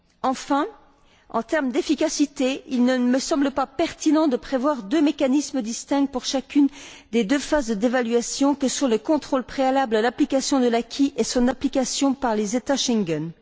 Enfin, en termes d'efficacité, il ne me semble pas pertinent de prévoir deux mécanismes distincts pour chacune des deux phases d'évaluation que sont le contrôle préalable à l'application de l'acquis et son application par les États Schengen.